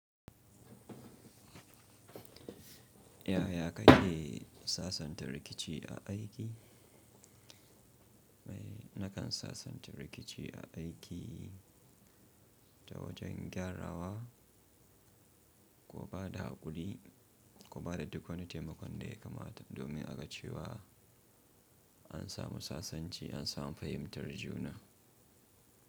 Yaya ka ke sasanta rikici a aiki? Nakan sasanta rikici a aiki ta wajen gyarawa ko ba da haƙuri ko ba da duk wani taimakon da ya kamata domin a ga cewa an samu sasanci, an samu fahimtar juna.